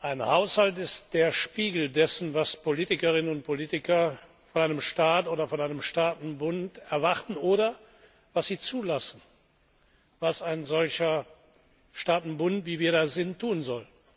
Ein Haushalt ist der Spiegel dessen, was Politikerinnen und Politiker von einem Staat oder von einem Staatenbund erwarten oder was sie zulassen, was ein solcher Staatenbund, wie wir das sind, tun soll.